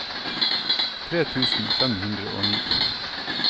tre tusen fem hundre og ni